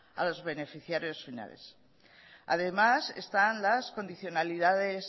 a los beneficiarios finales además están las condicionalidades